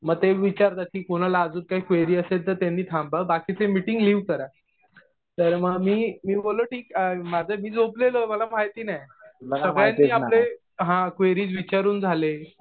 मग ते विचारतात कि कुणाला अजून काही क्वेरी असेल तर त्यांनी थांबा. बाकीचे मिटिंग लिव करा. तर मी बोललॊ ठीक. माझं मी झोपलेलो. मला माहिती नाही.सगळ्यांनी आपले क्वेरीज विचारून झाले.